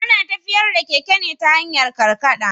Ana tafiyar da keke ne ta hanyar karkaɗa.